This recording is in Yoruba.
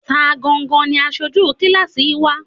Ta gangan ni aṣojú kíláásì wa?